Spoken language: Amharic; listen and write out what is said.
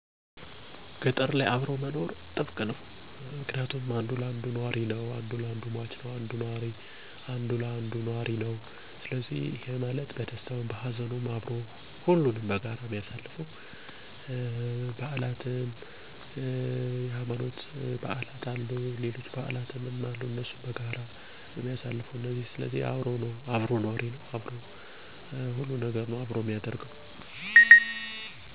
በጣም በጥብቅ የተቆራኘ ነው ምክንያቱም አንዱ ለአንዱ ኗሪ ስለሆነ፣ ማህበራዊ ኑሮው በጋራ መሰረት ያደረገ ነው።